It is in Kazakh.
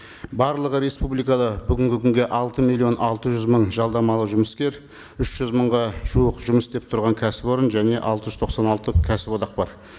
барлығы республикада бүгінгі күнге алты миллион алты жүз мың жалдамалы жұмыскер үш жүз мыңға жуық жұмыс істеп тұрған кәсіпорын және алты жүз тоқсан алты кәсіподақ бар